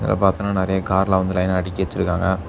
இத பாத்தோன நெறைய கார்லா வந்து லைனா அடுக்கி வெச்சுருக்காங்க.